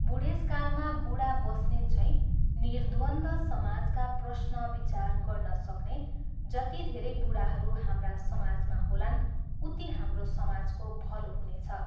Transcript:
बुढेसकालमा बुढा बस्नेतझैँ निर्द्वन्द्व समाजका प्रश्न विचार गर्न सक्ने जति धेरै बुढाहरू हाम्रा समाजमा होलान् उति हाम्रो समाजको भलो हुनेछ।